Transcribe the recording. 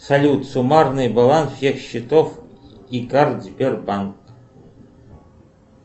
салют суммарный баланс всех счетов и карт сбербанк